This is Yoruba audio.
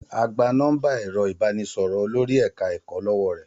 A gba nọ́ḿbà ẹ̀rọ ìbánisọ̀rọ̀ Olori eka-eko lọ́wọ́ rẹ̀.